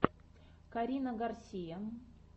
карина гарсия